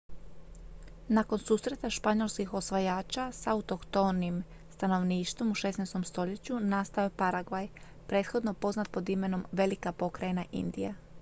nakon susreta španjolskih osvajača s autohtonim stanovništvom u 16. stoljeću nastao je paragvaj prethodno poznat pod imenom velika pokrajina indija